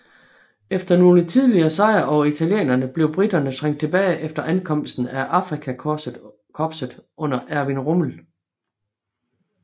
Efter nogle tidlige sejre over italienerne blev briterne trængt tilbage efter ankomsten af Afrikakorpset under Erwin Rommel